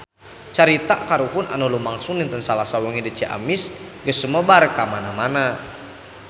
Carita kahuruan anu lumangsung dinten Salasa wengi di Ciamis geus sumebar kamana-mana